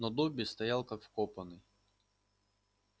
но добби стоял как вкопанный